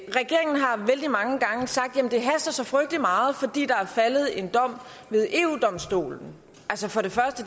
regeringen har vældig mange gange sagt at det haster så frygtelig meget fordi der er faldet en dom ved eu domstolen for det første